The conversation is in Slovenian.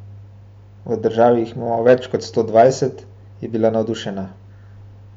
V državi jih imamo več kot sto dvajset, je bila navdušena.